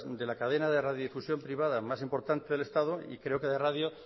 de la cadena de radio difusión privada más importante del estado y creo que de radio